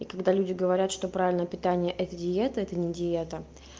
и когда люди говорят что правильное питание это диета это не диета